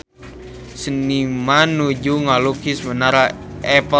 Seniman nuju ngalukis Menara Eiffel